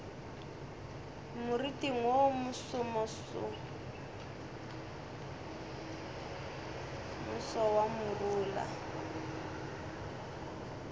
moriting wo mosomoso wa morula